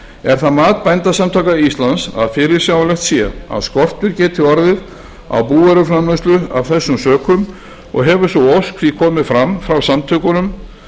er það mat bændasamtaka íslands að fyrirsjáanlegt sé að skortur geti orðið á búvöruframleiðslu af þessum sökum og hefur sú ósk því komið frá samtökunum